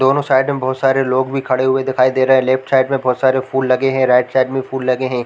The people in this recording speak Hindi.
दोनों साइड में बहोत सारे लोग भी खड़े हुए दिखाई दे रहे है लेफ्ट साइड में बहोत सारे फूल लगे है राईट साइड में फूल लगे हैं ।